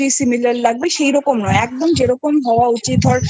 Similar লাগবে সেরকম নয় একদম যেরকম হওয়া উচিত ধর